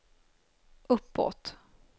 uppåt